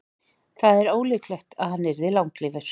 það er ólíklegt að hann yrði langlífur